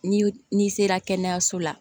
Ni n'i sera kɛnɛyaso la